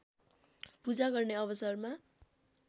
पूजा गर्ने अवसरमा